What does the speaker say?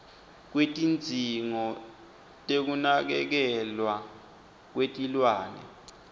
kwetidzingo tekunakekelwa kwetilwane